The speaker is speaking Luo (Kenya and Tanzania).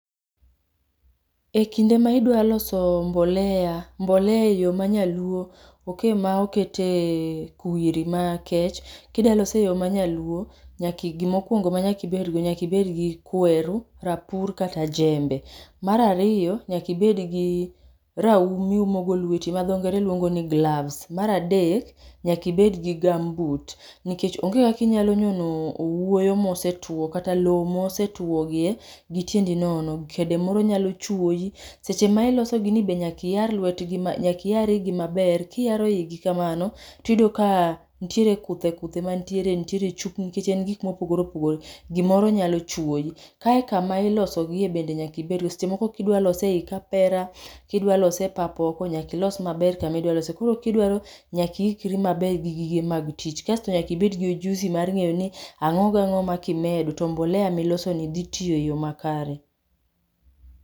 E kinde ma idwaloso mbolea, mbolea e yo ma nyaluo oke ma okete kwiri makech. Kidwa lose e yo ma nyaluo, nyaki gimokwongo ma nyakibedgo, nyakibedgi kweru, rapur kata jembe. Marariyo, nyakibedgi raum miumogo lweti, ma dho ngere luongo ni gloves. Maradek, nyakibed gi gumboot, nikech onge kakinyalo nyono owuoyo mosetwo kata lo mosetwo gie gitiendi nono. Kede moro myalo chowiyi. Deche ma ilosogi ni be nyakiyar lwetgi ma, nyakiyar igi maber. Kiyaro igi kamano, tiyudo ka nitiere kuthe kuthe mantiere, nitiere chupni nikech en gikmopogore opogore, gimoro nyalo chwoyi. Kae kama ilosogie bende nyakibedgo, seche moko kidwa lose ei kapera, kidwa lose e pap oko, nyakilos maber kamidwa lose. Koro kidwaro nyaki ikri maber gi gige mag tich. Kasto nyakibed gi ujuzi mar ng'eyo ni ang'o gang'o ma kimedo to mbolea ni dhi tiyo e yo makare.